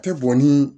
Tɛ bɔn ni